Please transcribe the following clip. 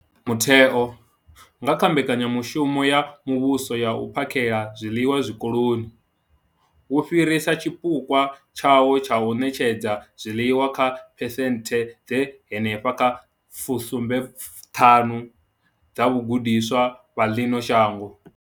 Mutheo, nga kha Mbekanya mushumo ya Muvhuso ya U phakhela zwiḽiwa Zwikoloni, wo fhirisa tshipukwa tshawo tsha u ṋetshedza zwiḽiwa kha phesenthe dza henefha kha 75 dza vhagudiswa vha ḽino shango.